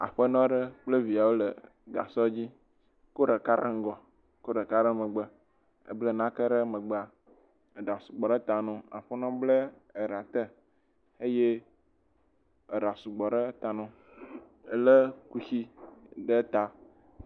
Aƒenɔ kple eviawo le gasɔ dzi kɔ ɖeka ɖe megbe kɔ ɖeka ɖe ŋgɔ ebla nake ɖe megbea, eɖa sugbɔ ɖe ta na wo aƒenɔ bla eɖa te eye eɖa sugbɔ ɖe ta na wo eye lé kusi ɖe ta.